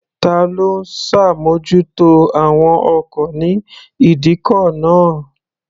Ta ló ń ṣàmójútó àwọn ọkọ̀ ní ìdíkọ̀ náà?